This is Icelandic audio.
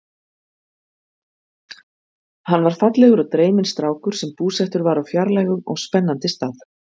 Hann var fallegur og dreyminn strákur sem búsettur var á fjarlægum og spennandi stað.